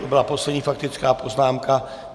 To byla poslední faktická poznámka.